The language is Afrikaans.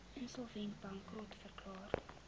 insolvent bankrot verklaar